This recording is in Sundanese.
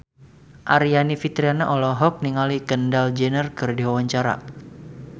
Aryani Fitriana olohok ningali Kendall Jenner keur diwawancara